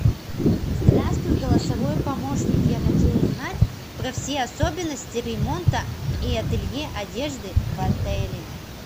здравствуй голосовой помощник я хочу узнать про все особенности ремонта и ателье одежды в отеле